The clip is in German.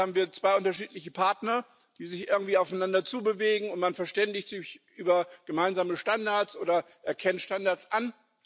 Normalerweise haben wir zwei unterschiedliche Partner, die sich irgendwie aufeinander zubewegen, und man verständigt sich über gemeinsame Standards oder erkennt Standards an.